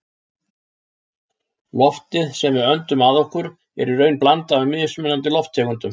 Loftið sem við öndum að okkur er í raun blanda af mismunandi lofttegundum.